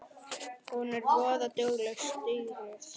Hún er voða dugleg, stýrið.